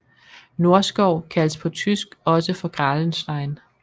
Nordskov kaldes på tysk også for Grahlenstein